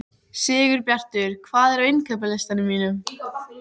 Sigurbjartur, hvað er á innkaupalistanum mínum?